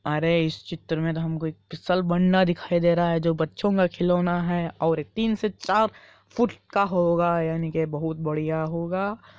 अरे इस चित्र में तो हमको एक फ़िसलबंडा दिखाई दे रहा है जो बच्चो का खेलौना है और तीन से चार फुट का होगा यानि की बहुत बढ़िया होगा।